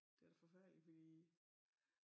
Det da forfærdeligt fordi